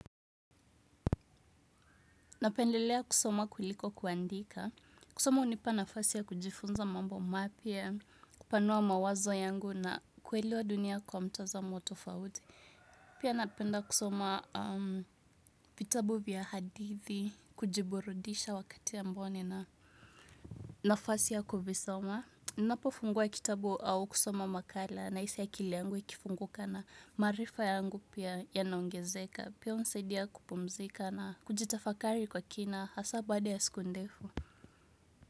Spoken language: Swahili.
Napendelea kusoma kuliko kuandika. Kusoma unipa nafasi ya kujifunza mambo mapia, kupanua mawazo yangu na kwelewa dunia kwa mtazamo tofauti. Pia napenda kusoma vitabu vya hadithi, kujiburudisha wakati ambao nina nafasi ya kuvisoma. Na pofungua kitabu au kusoma makala naisi akiliangu ikifunguka na marifa yangu pia yanaongezeka. Pia unisedia kupumzika na kujitafakari kwa kina hasa bada ya siku ndefu.